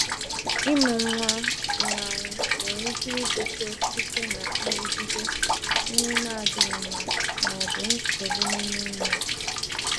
Ịmụ nwa nwụrụ anwụ nwere ike ibute site na nrụgide, nri na-adịghị mma, ma ọ bụ nsogbu n’ime nwa.